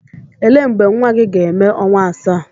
Ele mgbe nwa gị ga-eme ọnwa asaa?